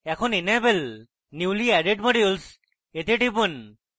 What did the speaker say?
এখন enable newly added modules এ টিপুন